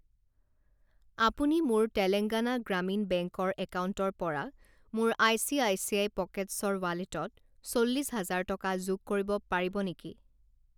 আপুনি মোৰ তেলেঙ্গানা গ্ৰামীণ বেংক ৰ একাউণ্টৰ পৰা মোৰ আইচিআইচিআই পকেটছ‌ৰ ৱালেটত চল্লিছ হাজাৰ টকা যোগ কৰিব পাৰিব নেকি?